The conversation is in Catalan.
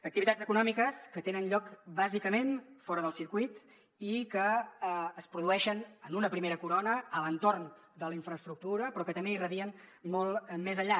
activitats econòmiques que tenen lloc bàsicament fora del circuit i que es produeixen en una primera corona a l’entorn de la infraestructura però que també irradien molt més enllà